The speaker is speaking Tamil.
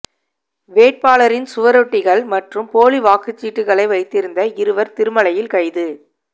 வேட்பாளரின் சுவரொட்டிகள் மற்றும் போலி வாக்குச்சீட்டுக்களை வைத்திருந்த இருவர் திருமலையில் கைது